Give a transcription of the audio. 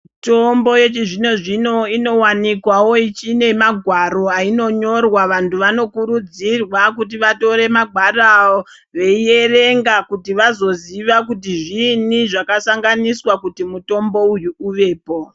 Mitombo yechizvino-zvino inowanikwawo inemagwaro ainonyorwa. Vantu vanokurudzirwa kuti vatore magwaro aya veiverenga kuti vazoziva kuti zviinyi zvakasanganiswa kuti mutombo uyu uvepo.